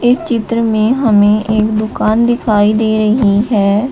इस चित्र में हमें एक दुकान दिखाई दे रही है।